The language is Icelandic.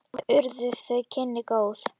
Og urðu þau kynni góð.